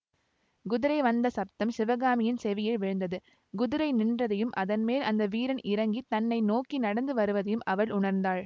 குதிரை வந்த சப்தம் சிவகாமியின் செவியில் விழுந்தது குதிரை நின்றதையும் அதன்மேல் வந்த வீரன் இறங்கி தன்னை நோக்கி நடந்து வருவதையும் அவள் உணர்ந்தாள்